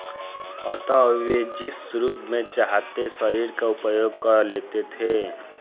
अत वे जिस रूप में चाहते शरीर का उपयोग कर लेते थे